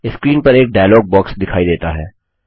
screen पर एक dialogue box दिखाई देता है